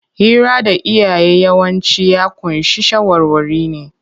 Hira da iyaye yawanci ya ƙunshi shawarwari ne.